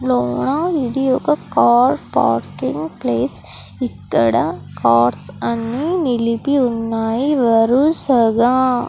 ఇది ఒక car parking place ఇక్కడ కార్స్ అన్ని నిలిపి ఉన్నాయి వరుసగా --